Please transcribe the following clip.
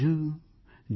જોજો